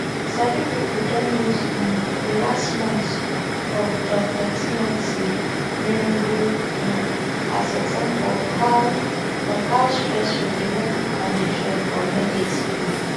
sabi pipo don use um di last month of dr timothy riungu um as example of how of how stressful di working conditions for medics be